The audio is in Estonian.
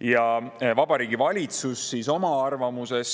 Ja Vabariigi Valitsus oma arvamuses,